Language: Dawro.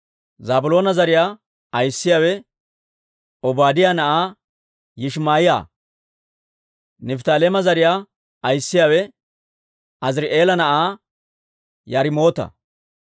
Zaabiloona zariyaa ayissiyaawe Obaadiyaa na'aa Yishimaa'iyaa. Nifttaaleema zariyaa ayissiyaawe Aziri'eela na'aa Yaarimoota.